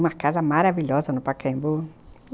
Uma casa maravilhosa no Pacaembu.